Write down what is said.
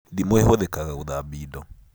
Ndimũ ĩhũthĩkaga gũthambia indo